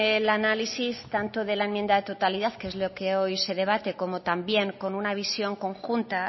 el análisis tanto de la enmienda de totalidad que es lo que hoy se debate como también de una visión conjunta